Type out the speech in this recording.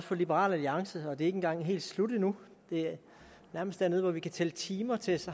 for liberal alliance og det er ikke engang helt slut endnu vi er nærmest dernede hvor vi kan tælle timer til